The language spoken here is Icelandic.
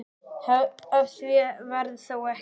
Af því varð þó ekki.